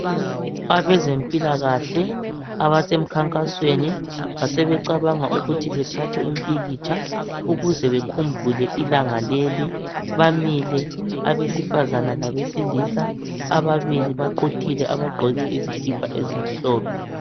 Abezempilakahle abasemkhankasweni, basebecabanga ukuthi bathathe umpikitsha ukuze bekhumbule ilanga leli. Bamile abesifazana labesilisa, ababili baqhuthile baqoke izikhipa ezimhlophe.